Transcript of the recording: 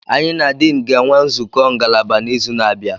Anyị na Dean ga-enwe nzukọ ngalaba n'izu na-abịa.